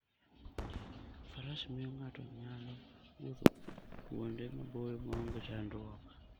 Faras miyo ng'ato nyalo wuotho kuonde maboyo maonge chandruok.